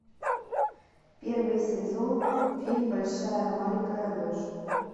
первый сезон фильм большая маленькая ложь